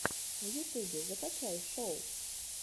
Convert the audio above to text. в ютубе закачай шоу